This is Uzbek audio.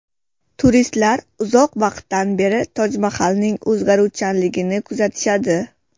Turistlar uzoq vaqtdan beri Tojmahalning o‘zgaruvchanligini kuzatishadi.